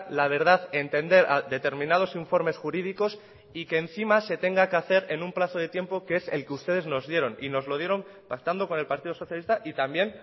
la verdad entender determinados informes jurídicos y que encima se tenga que hacer en un plazo de tiempo que es el que ustedes nos dieron y nos lo dieron pactando con el partido socialista y también